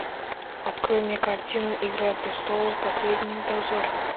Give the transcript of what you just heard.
открой мне картину игра престолов последний дозор